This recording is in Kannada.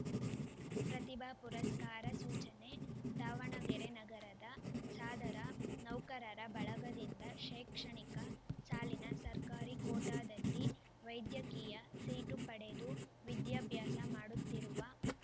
ಪ್ರತಿಭಾ ಪುರಸ್ಕಾರ ಸೂಚನೆ ದಾವಣಗೆರೆ ನಗರದ ಸಾದರ ನೌಕರರ ಬಳಗದಿಂದ ಶೈಕ್ಷಣಿಕ ಸಾಲಿನ ಸರ್ಕಾರಿ ಕೋಟಾದಲ್ಲಿ ವೈದ್ಯಕೀಯ ಸೀಟು ಪಡೆದು ವಿದ್ಯಾಭ್ಯಾಸ ಮಾಡುತ್ತಿರುವ